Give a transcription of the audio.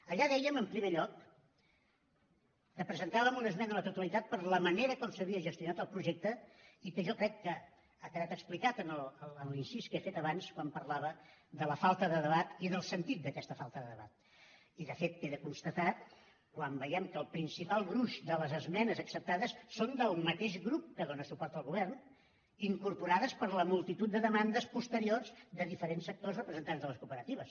allà dèiem en primer lloc que presentàvem una esmena a la totalitat per la manera com s’havia gestionat el projecte i que jo crec que ha quedat explicat en l’incís que he fet abans quan parlava de la falta de debat i del sentit d’aquesta falta de debat i de fet queda constatat quan veiem que el principal gruix de les esmenes acceptades són del mateix grup que dóna suport al govern incorporades per la multitud de demandes posteriors de diferents sectors representants de les cooperatives